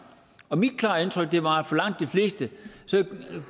og mit klare indtryk var at for langt de fleste